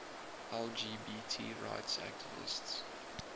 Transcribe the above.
lgbt rights activists